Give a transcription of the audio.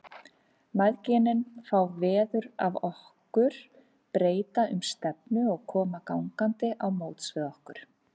Mæðginin fá veður af okkur, breyta um stefnu og koma gangandi á móts við okkur.